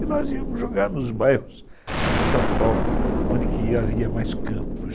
E nós íamos jogar nos bairros de São Paulo, onde havia mais campos.